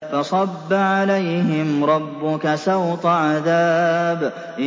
فَصَبَّ عَلَيْهِمْ رَبُّكَ سَوْطَ عَذَابٍ